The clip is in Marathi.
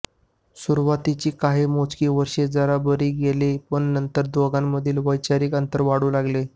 सुरवातीची काही मोजकी वर्षे जरा बरी गेली पण नंतर दोघांमधील वैचारिक अंतर वाढू लागले